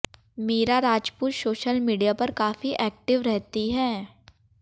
Meera Rajput social media पर काफी active रहती हैं